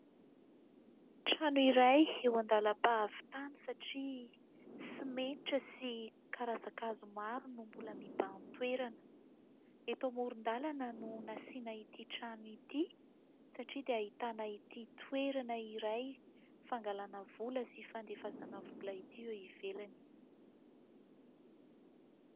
Trano iray eo andalam-pahavitana satria simenitra sy karazan-kazo maro no mbola mibahan-toerana. Eto amoron-dalana no nasiana ity trano ity satria dia ahitana ity toerana iray fangalana vola sy fandefasana vola ity eo ivelany.